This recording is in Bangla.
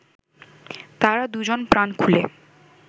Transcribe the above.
তারা দুজন প্রাণ খুলে